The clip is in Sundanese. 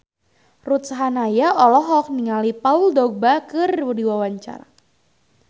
Ruth Sahanaya olohok ningali Paul Dogba keur diwawancara